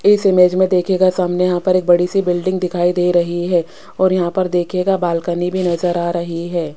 इस इमेज में दिखेगा सामने यहां पर एक बड़ी सी बिल्डिंग दिखाई दे रही है और यहां पर दिखेगा बालकनी भी नजर आ रही है।